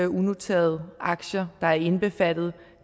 unoterede aktier der er indbefattet